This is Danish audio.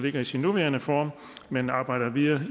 i dets nuværende form men arbejder videre